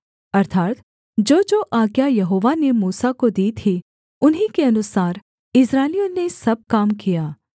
अर्थात् जोजो आज्ञा यहोवा ने मूसा को दी थी उन्हीं के अनुसार इस्राएलियों ने सब काम किया